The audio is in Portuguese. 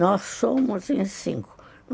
Nós somos em cinco.